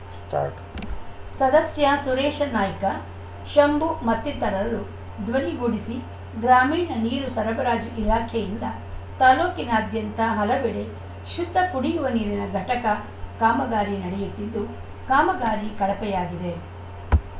start ಸದಸ್ಯ ಸುರೇಶ ನಾಯ್ಕ ಶಂಭು ಮತ್ತಿತರರು ದ್ವನಿಗೂಡಿಸಿ ಗ್ರಾಮೀಣ ನೀರು ಸರಬರಾಜು ಇಲಾಖೆಯಿಂದ ತಾಲೂಕಿನಾದ್ಯಂತ ಹಲವೆಡೆ ಶುದ್ಧ ಕುಡಿಯುವ ನೀರಿನ ಘಟಕ ಕಾಮಗಾರಿ ನಡೆಯುತ್ತಿದ್ದು ಕಾಮಗಾರಿ ಕಳಪೆಯಾಗಿದೆ